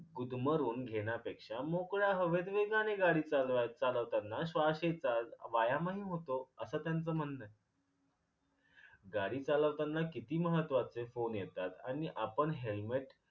गुदमरून घेण्यापेक्षा मोकळ्या हवेत वेगाने गाडी चालवा चालवताना श्वास हेतात वायमही होतो अस त्याचं म्हणण आहे. गाडी चालवताना किती महत्वाचे फोन येतात आणि आपण helmet